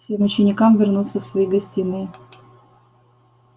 всем ученикам вернуться в свои гостиные